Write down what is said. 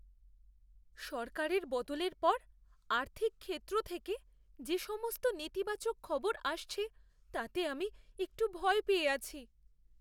সরকারের বদলের পর আর্থিক ক্ষেত্র থেকে যে সমস্ত নেতিবাচক খবর আসছে, তাতে আমি একটু ভয় পেয়ে আছি।